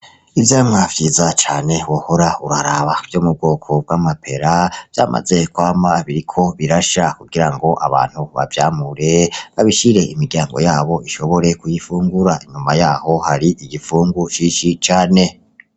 Ivyamwa vyiza cane wohora uraraba vyo mu bwoko bw'amapera vyamaze kwama biriko birasha kugira ngo abantu bavyamure babishire imiryango yabo ishobore kuyifungura inyuma yaho hari igipfungu cinshi cane.